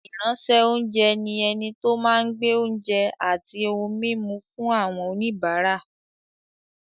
Ìránṣẹ́-oúnjẹ ni ẹni tó máa ń gbé oúnjẹ àti ohun-mímu fún àwọn oníbàárà.